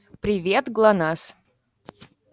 привет глонассс